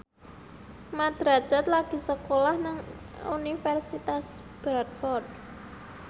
Mat Drajat lagi sekolah nang Universitas Bradford